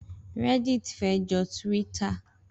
Rẹ́ddit fé jọ Tíwíttà.